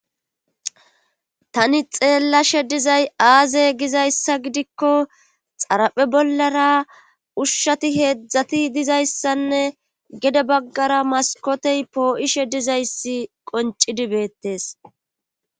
Tani xeellashe dizay aazey gizayssa gidikko xaraphe bollara ushati heedzdzati dizayssanne gede baggara maskotey poo'ishe dizayssi qonccdii bettees.